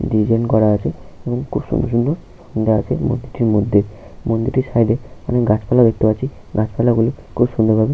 design করা আছে এবং খুব সুন্দর সুন্দর মুড়া আছে মূর্তিটির মধ্যে মন্দিরটির সাইড -এ অনেক গাছপালা দেখতে পাচ্ছি গাছপালাগুলি খুব সুন্দর ভাবে--